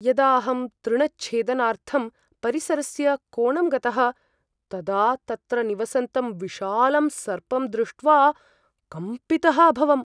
यदा अहं तृणच्छेदनार्थं परिसरस्य कोणं गतः तदा तत्र निवसन्तं विशालं सर्पं दृष्ट्वा कम्पितः अभवम् ।